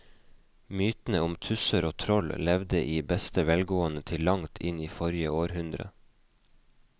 Mytene om tusser og troll levde i beste velgående til langt inn i forrige århundre.